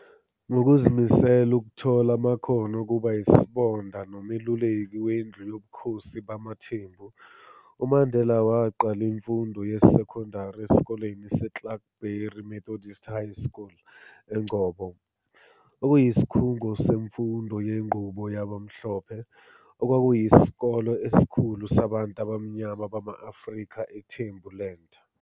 Ngokuzimisela ukuthola amakhono okuba yisobonda nomeluleki wendlu yobukhosi bamaThembu, uMandela waqala imfundo yesekondari esikoleni seClarkebury Methodist High School, Engcobo, okuyisikhungo semfundo yenqubo yabamhlophe, okwakuyisikole esikhulu sabantu abamnyama bama-Afrika, eThembuland.